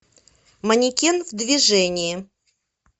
манекен в движении